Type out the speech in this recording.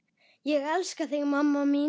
Ég elska þig mamma mín.